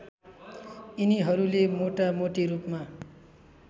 यिनीहरूले मोटामोटी रूपमा